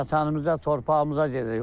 Vətənimizə, torpağımıza gedirik.